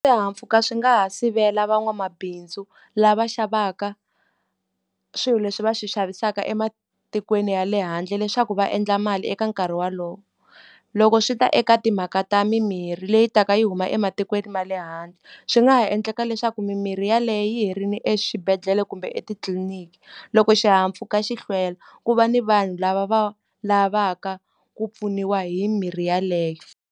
Swihahampfhuka swi nga ha sivela van'wamabindzu lava xavaka swilo leswi va swi xavisaka ematikweni ya le handle leswaku va endla mali eka nkarhi wolowo. Loko swi ta eka timhaka ta mimirhi leyi taka yi huma ematikweni ma le handle, swi nga ha endleka leswaku mimirhi yeleyo yi herile exibedhlele kumbe etitliliniki. Loko xihahampfhuka xi hlwela, ku va ni vanhu lava va lavaka ku pfuniwa hi mirhi yeleyo.